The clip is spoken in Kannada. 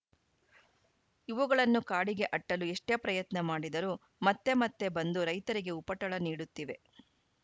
ಇವುಗಳನ್ನು ಕಾಡಿಗೆ ಅಟ್ಟಲು ಎಷ್ಟೇ ಪ್ರಯತ್ನ ಮಾಡಿದರೂ ಮತ್ತೆ ಮತ್ತೆ ಬಂದು ರೈತರಿಗೆ ಉಪಟಳ ನೀಡುತ್ತಿವೆ